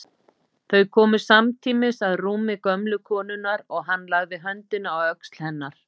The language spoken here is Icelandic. Þau komu samtímis að rúmi gömlu konunnar og hann lagði höndina á öxl hennar.